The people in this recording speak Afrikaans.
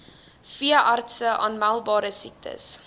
veeartse aanmeldbare siektes